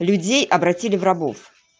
людей обратили в рабов